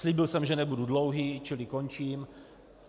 Slíbil jsem, že nebudu dlouhý, čili končím.